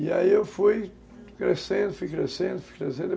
E aí eu fui crescendo, fui crescendo, fui crescendo.